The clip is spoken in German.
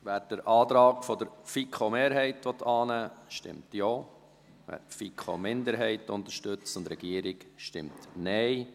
Wer den Antrag der FiKo-Mehrheit annehmen will, stimmt Ja, wer die FiKo-Minderheit und die Regierung unterstützt, stimmt Nein.